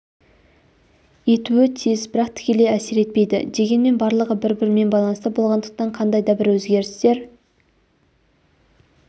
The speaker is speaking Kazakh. етуі тиіс бірақ тікелей әсер етпейді дегенмен барлығы бір-бірімен байланыста болғандықтан қандай да бір өзгерістер